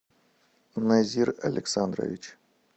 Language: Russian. назир александрович